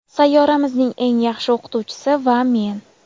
Sayyoramizning eng yaxshi o‘qituvchisi va men.